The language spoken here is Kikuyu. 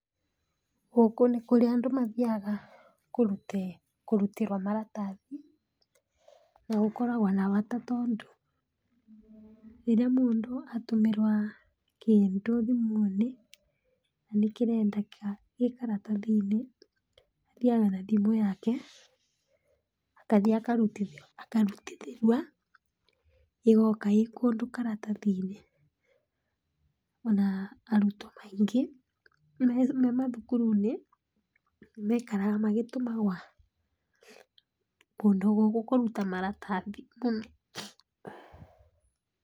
Gũkũ nĩkũrĩa andũ mathiaga kũrutĩrwa maratathi ,na gũkoragwa na bata tondũ rĩrĩa mũndũ atũmĩrũa kĩndũ thimũnĩ na nĩkĩrendeka gĩkaratathinĩ athiaga na thimũ yake akathi akarutithĩrua ĩgoka ĩkũndũ karatathinĩ, ona arutwa maingĩ memathukurunĩ mekaraga magĩtũmagũa kũndũ gũkũ kũruta maratathi mũno.